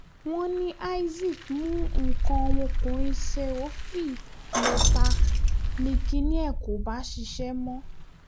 wọ́n ní isaac mú nǹkan ọmọkùnrin sèhófì lọ́tà ni kinní ẹ̀ kò bá ṣiṣẹ́ mọ́